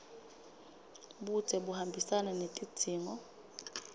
budze buhambisana netidzingo